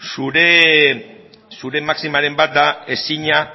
zure maximaren bat da ezina